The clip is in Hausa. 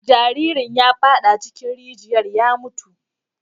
Jaririn ya fada cikin rijiyar ya mutu.